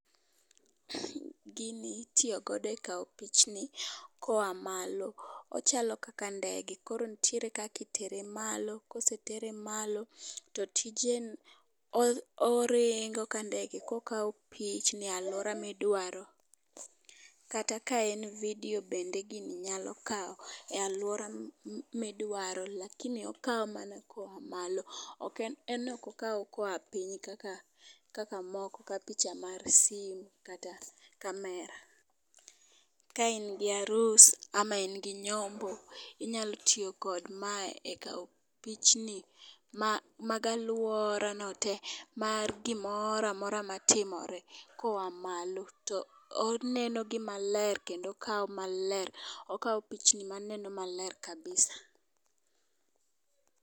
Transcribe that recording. Gini itiyo godo e kawo pichni koa malo . Ochalo kaka ndege koro ntiere kaki tere malo kosetere malo to tije en o oringo kandege kokao pichni aluora midwaro . Kata ka en vidio bende gini nyalo kawo e aluora midwaro. Lakini okawo mana koa malo. En ok okaw koa piny kaka moko ka picha mar simu kata kamera . Ka in gi arus ama in gi nyombo inyalo tiyo kod ma e kao pichni ma mag aluorano te mar gimoramora matimre koa malo. To oneno gi maler kendo okawo maler okawo pichni maneno maler kabisa.